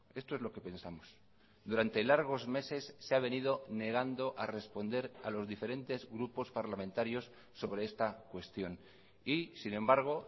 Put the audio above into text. esto es lo que pensamos durante largos meses se ha venido negando a responder a los diferentes grupos parlamentarios sobre esta cuestión y sin embargo